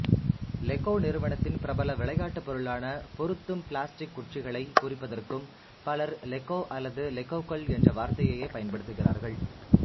Lego நிறுவனத்தின் பிரபல விளையாட்டுப்பொருளான பொருத்தும் பிளஸ்டிக்குற்றிகளைக் குறிப்பதற்கும் பலர் லெகோ அல்லது லெகோக்கள் என்ற வார்த்தையையே பயன்படுத்துகிறார்கள்